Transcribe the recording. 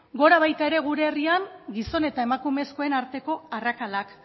gora baita ere gure herrian gizon eta emakumezkoen arteko arrakalak